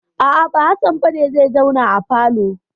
A'a, ba Hassan ba ne zai zauna a falo.